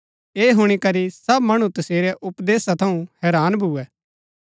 ऐह हुणी करी सब मणु तसेरै उपदेशा थऊँ हैरान भुऐ